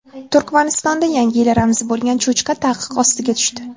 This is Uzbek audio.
Turkmanistonda Yangi yil ramzi bo‘lgan cho‘chqa taqiq ostiga tushdi.